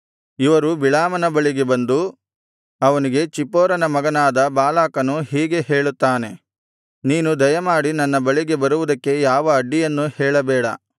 ಇವರು ಬಿಳಾಮನ ಬಳಿಗೆ ಬಂದು ಅವನಿಗೆ ಚಿಪ್ಪೋರನ ಮಗನಾದ ಬಾಲಾಕನು ಹೀಗೆ ಹೇಳುತ್ತಾನೆ ನೀನು ದಯಮಾಡಿ ನನ್ನ ಬಳಿಗೆ ಬರುವುದಕ್ಕೆ ಯಾವ ಅಡ್ಡಿಯನ್ನೂ ಹೇಳಬೇಡ